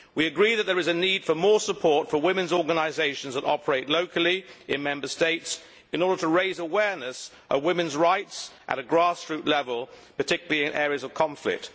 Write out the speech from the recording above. We agree that there is a need for more support for women's organisations that operate locally in Member States in order to raise awareness of women's rights at a grass root level, particularly in areas of conflict.